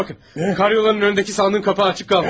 Karyolanın önündəki sandığın qapağı açıq qalmış.